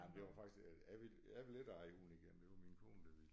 Jamen det var faktisk jeg ville jeg ville ikke eje hund igen det var min kone der ville